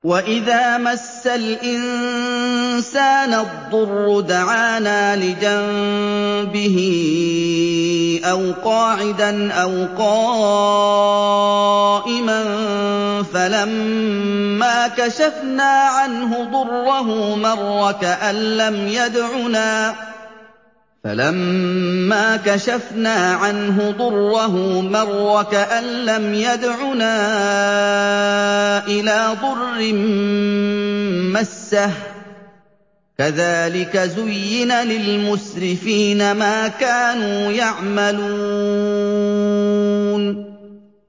وَإِذَا مَسَّ الْإِنسَانَ الضُّرُّ دَعَانَا لِجَنبِهِ أَوْ قَاعِدًا أَوْ قَائِمًا فَلَمَّا كَشَفْنَا عَنْهُ ضُرَّهُ مَرَّ كَأَن لَّمْ يَدْعُنَا إِلَىٰ ضُرٍّ مَّسَّهُ ۚ كَذَٰلِكَ زُيِّنَ لِلْمُسْرِفِينَ مَا كَانُوا يَعْمَلُونَ